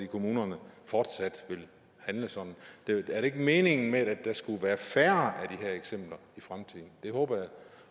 kommunerne fortsat vil handle sådan men er det ikke meningen med det at der skal være færre af de her eksempler i fremtiden det håber jeg